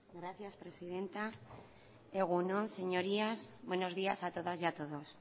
gracias presidenta egun on señorías buenos días a todas y a todos